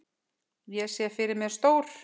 Ég sé fyrir mér stór